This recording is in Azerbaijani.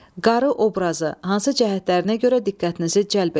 Qarı obrazı hansı cəhətlərinə görə diqqətinizi cəlb etdi?